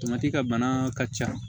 ka bana ka ca